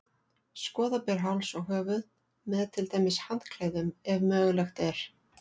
Skorða ber háls og höfuð, með til dæmis handklæðum, ef mögulegt er.